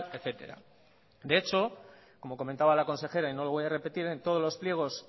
etcétera de hecho como comentaba la consejera y no lo voy a repetir en todos los pliegos